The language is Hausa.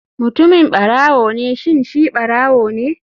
Mutumin barawo ne shin shi ɓarawone??